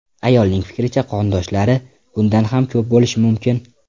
Ayolning fikricha, qondoshlari bundan ham ko‘p bo‘lishi mumkin.